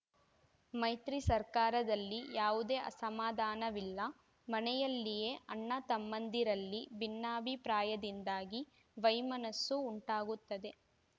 ಮೈತ್ರಿ ಸರ್ಕಾರದಲ್ಲಿ ಯಾವುದೇ ಅಸಮಾಧಾನವಿಲ್ಲ ಮನೆಯಲ್ಲಿಯೇ ಅಣ್ಣತಮ್ಮಂದಿರಲ್ಲಿ ಭಿನ್ನಾಭಿಪ್ರಾಯದಿಂದಾಗಿ ವೈಮನಸ್ಸು ಉಂಟಾಗುತ್ತದೆ